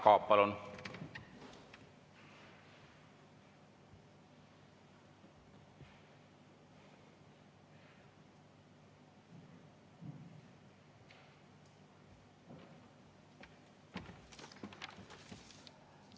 Jaak Aab, palun!